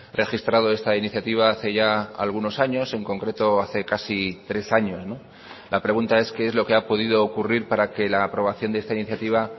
registrado esta iniciativa hace ya algunos años en concreto hace casi tres años la pregunta es qué es lo que ha podido ocurrir para que la aprobación de esta iniciativa